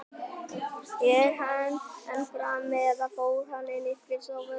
Er hann enn frammi- eða fór hann inn á skrifstofu Ketils?